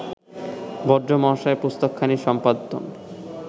ভদ্র মহাশয় পুস্তকখানি সম্পাদন